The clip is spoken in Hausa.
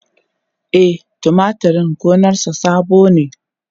E, tumatur din gonarsa sabo ne.